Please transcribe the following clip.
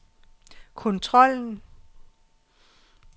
kontrollen